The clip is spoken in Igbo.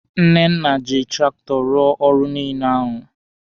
Nnenna ji traktọ rụọ ọrụ niile ahụ.